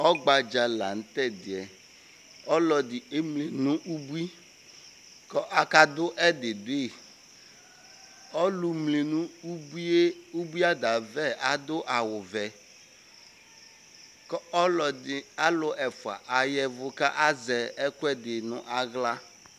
Ɔgbadza laŋtɛdiɛƆlɔdi emli nʋ ubui, kʋ Akadʋ ɛdi duiƆlumli nʋ ubui aɖaavɛ adʋ awu vɛKʋ ɔlɔdi , alu ɛfua ayavu kʋ azɛ ɛkʋ ɛdi naɣla